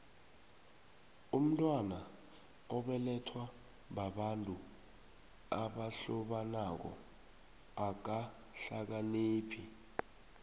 umntwana obelethwa babantu abahlobanako akahlakaniphi